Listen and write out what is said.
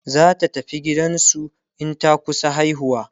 zata tafi gidansu in ta kusa haihuwa